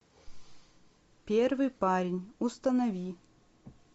первый парень установи